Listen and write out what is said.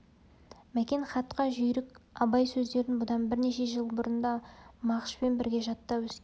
мәкен хатқа жүйрік абай сөздерін бұдан бірнеше жыл бұрын да мағышпен бірге жаттап өскен